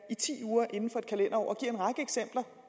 i ti uger inden for et kalenderår